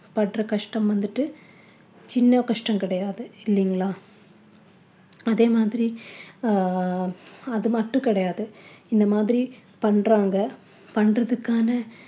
படுற கஷ்டம் வந்துட்டு சின்ன கஷ்டம் கிடையாது இல்லைங்கிளா அதே மாதிரி அஹ் அது மட்டும் கிடையாது இந்த மாதிரி பண்றாங்க பண்றதுக்கான